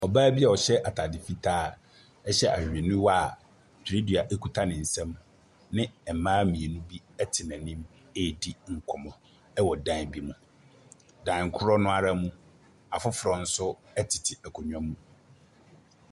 Ɔbaa bi ɔhyɛ ataade fitaa, hyɛ ahwehwɛniwa a twerɛdua kita ne nsam ne mmaa mmienu bi te n’anim redi nkɔmmɔ wɔ dan bi mu. Dan koro no ara mu, afoforo nso tete nkonnwa mu.